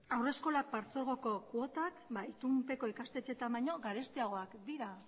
haurreskolak partzuergoko kuotak itunpeko ikastetxeetan baina garestiagoak dira